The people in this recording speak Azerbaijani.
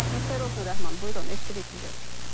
Hər vaxtınız xeyir olsun, Rəhman, buyurun, eşidirik sizi.